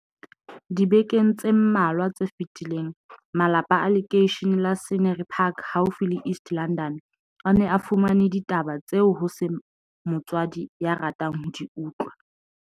Dibekeng tse mmalwa tse fetileng, malapa a lekeishene la Scenery Park haufi le East London, a ne a fumane ditaba tseo ho seng motswadi ya ratang ho di utlwa.